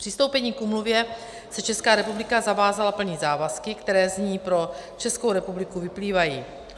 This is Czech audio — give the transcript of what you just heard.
Přistoupením k úmluvě se Česká republika zavázala plnit závazky, které z ní pro Českou republiku vyplývají.